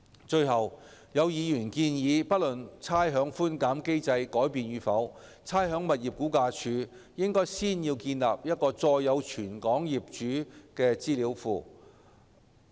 最後，有議員建議，不論差餉寬減機制改變與否，差餉物業估價署應先建立載有全港業主資料的資料庫。